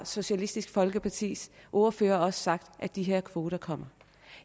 socialistisk folkepartis ordfører sagt at de her kvoter kommer